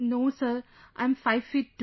No sir, I'm five feet two